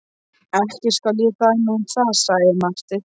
Ekki skal ég dæma um það, sagði Marteinn.